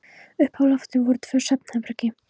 Uppi á lofti voru tvö svefnherbergi.